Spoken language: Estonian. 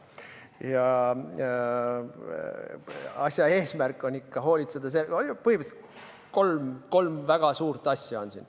Eesmärk on ikkagi hoolitseda põhimõtteliselt kolme väga suure asja eest.